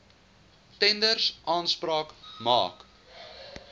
tenders aanspraak maak